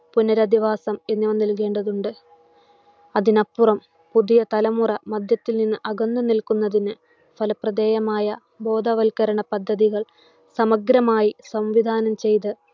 പുനരധിവാസം എന്നിവ നൽകേണ്ടതുണ്ട്. അതിനപ്പുറം പുതിയ തലമുറ മദ്യത്തിൽ നിന്ന് അകന്നു നിൽക്കുന്നതിനു, ഫലപ്രദേയമായ ബോധവൽക്കരണ പദ്ധതികൾ സമഗ്രമായി സംവിധാനം ചെയ്ത്‌